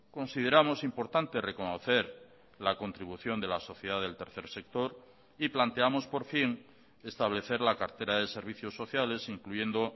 consideramos importante reconocer la contribución de la sociedad del tercer sector y planteamos por fin establecer la cartera de servicios sociales incluyendo